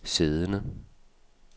siddende